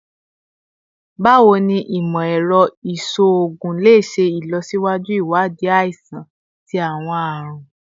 Bawo ni imọ-ẹrọ iṣoogun le ṣe ilọsiwaju iwadii aisan ti awọn arun?